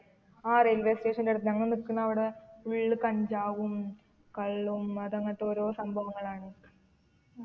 ആ railway station ന്റെ അടുത്ത ഞങ്ങൾ നിക്കുന്നവിടെ full കഞ്ചാവും കള്ളും അതങ്ങനത്തെ ഓരോ സംഭവങ്ങളാണ്